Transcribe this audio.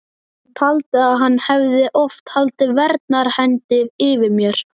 Hún taldi að hann hefði oft haldið verndarhendi yfir mér.